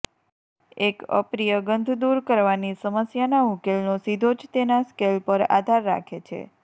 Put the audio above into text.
એક અપ્રિય ગંધ દૂર કરવાની સમસ્યાના ઉકેલનો સીધો જ તેના સ્કેલ પર આધાર રાખે છે